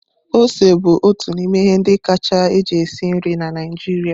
Ose bụ otu n'ime ihe ndị kacha eji esi nri na Naijiria.